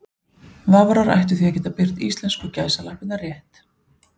Vafrar ættu því að geta birt íslensku gæsalappirnar rétt.